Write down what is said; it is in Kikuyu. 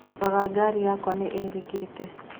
Tarora Ngarĩ yakwa niirikite